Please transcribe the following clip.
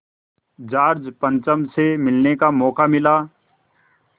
George पंचम से मिलने का मौक़ा मिला